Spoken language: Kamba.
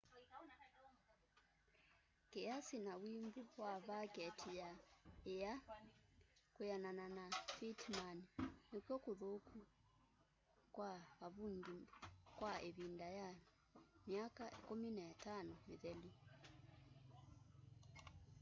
kiasi na wimbu wa vaketi ya ia kwianana na pittman nikw'o kuthuku kwa avungi kwa ivinda ya myaka 15 mithelu